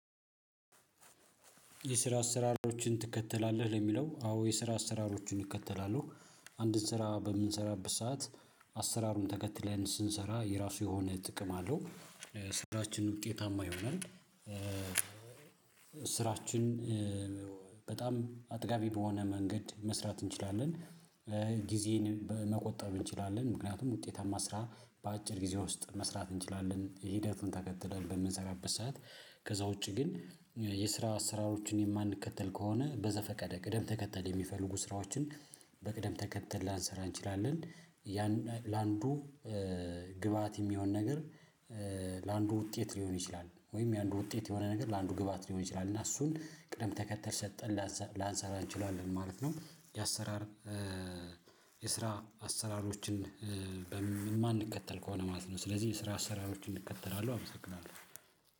የስራ አሰራሮችን ትከተላለህ? ለሚለው አዎ የስራ አሰራሮችን እከተላለው። አንድን ስራ በምንሰራበት ሰዓት አሰራሩን ተከትለን ስንሰራ የራሱ የሆነ ጥቅም አለው ስራችን ውጤታማ ይሆናል። ስራችን በጣም አጥጋቢ በሆነ መንገድ መስራት እንችላለን። ጊዜንን በመቆጠብ እንችላለን ምክንያቱም ውጤታማ ስራ በአጭር ጊዜ ውስጥ መስራት እንችላለን ሂደቱን ተከትለን በምንሰራበት ሰዓት ከዛ ውጪ ግን የስራ አሰራሮችን የማንከተል ከሆነ በዘፈቀደ ቅደም ተከተል የሚፈልጉ ስራዎችን በቅደም ተከተል ላንሰራ እንችላለን። ያን ለአንዱ ግብአት የሚሆን ነገር ለአንዱ ውጤት ሊሆን ይችላል። ወይም የአንዱ ውጤት የሆነ ነገር ለአንዱ ግብአት ሊሆን ይችላል እና እሱን ቅደም ተከተል ሰጠን ላንሰራ እንችላለን ማለት ነው። የአሰራር የስራ አሰራሮችን በማንከተል ከሆነ ማለት ነው። ስለዚህ የስራ አስራሮችን እከተላለው አመሰግናለው።